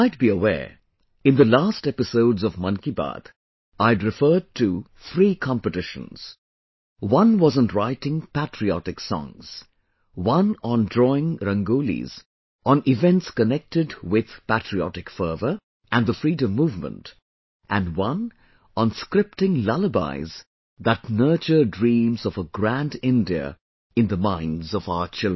You might be aware...in the last episodes of Mann Ki Baat, I had referred to three competitions one was on writing patriotic songs; one on drawing Rangolis on events connected with patriotic fervor and the Freedom movement and one on scripting lullabies that nurture dreams of a grand India in the minds of our children